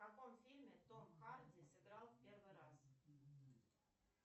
в каком фильме том харди сыграл первый раз